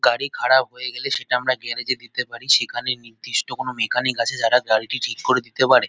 গাড়ি খারাপ হয়ে গেলে সেটা আমরা গ্যরেজ -এ দিতে পারি। সেখানে নির্দিষ্ট কোনো মেকানিক আছে যারা গাড়িটি ঠিক করে দিতে পারে।